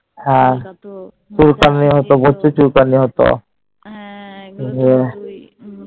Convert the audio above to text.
হ্যাঁ হ্যাঁ এগুলো তো হতোই